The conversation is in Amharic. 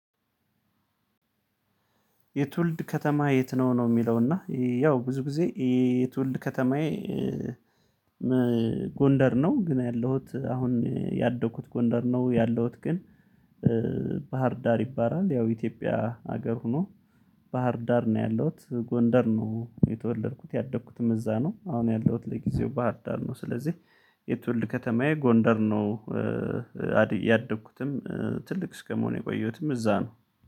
የትውልድ ከተማህ የት ነው ነው የሚለው እና ያው ብዙ ጊዜ የትውልድ ከተማዬ ጎንደር ነው ግን ያለሁት አሁን ያደኩት ጎንደር ነው ያለሁት ግን ባህር ዳር ይባላል ያው ኢትዮጵያ ሀገር ሆኖ ባህር ዳር ነው ያለሁት ጎንደር ነው የተወለድኩት ያደግኩትም እዛ ነው አሁን ያለሁት ለጊዜው ባህር ዳር ነው ስለዚህ የትውልድ ከተማዬ ጎንደር ነው። አዲ ያደግኩትም ትልቅ እስከመሆን የቆየሁትም እዛ ነው